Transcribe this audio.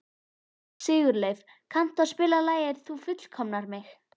Sigurleif, kanntu að spila lagið „Þú fullkomnar mig“?